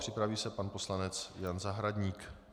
Připraví se pan poslanec Jan Zahradník.